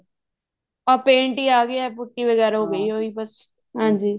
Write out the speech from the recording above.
ਹਾਂ paint ਹੀ ਆਂ ਗਏ ਏ ਪੁਟੀ ਵਗੇਰਾ ਹੋਗੀ ਏ ਉਹੀ ਏ ਬੱਸ ਹਾਂਜੀ